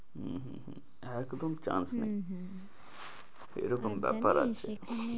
উম হম হম একদম chance নেই হম হম এ রকম ব্যাপার আছে, আর জানিস এখানে,